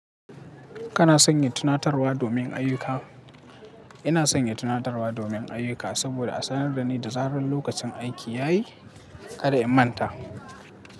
Kana sanya tunatarwa domin ayyuka? Ina sanya tunatarwa domin ayyuka saboda a sanar da ni da zarar lokacin aiki ya yi. Kada in manta.